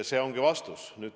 See ongi vastus.